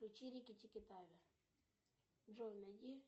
включи рики тики тави джой найди